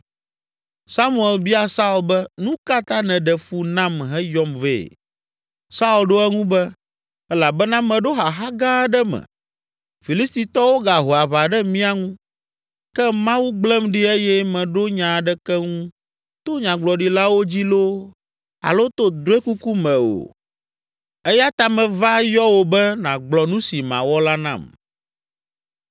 Samuel bia Saul be, “Nu ka ta nèɖe fu nam heyɔm vɛ?” Saul ɖo eŋu be, “Elabena meɖo xaxa gã aɖe me. Filistitɔwo gaho aʋa ɖe mía ŋu, ke Mawu gblẽm ɖi eye meɖo nya aɖeke ŋu to nyagblɔɖilawo dzi loo alo to drɔ̃ekuku me o. Eya ta meva yɔ wò be nàgblɔ nu si mawɔ la nam.”